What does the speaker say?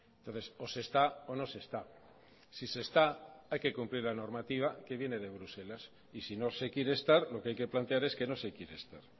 entonces o se está o no se está si se está hay que cumplir la normativa que viene de bruselas y si no se quiere estar lo que hay que plantear es que no se quiere estar